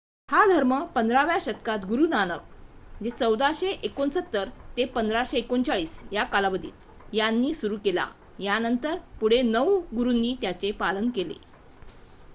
हा धर्म 15 व्या शतकात गुरु नानक 1469-1539 यांनी सुरू केला. त्यानंतर पुढे 9 गुरूंनी त्याचे पालन केले